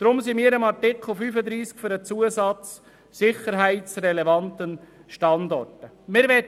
Deswegen sind wir für den Zusatz «an sicherheitsrelevanten Standorten» in Artikel 35.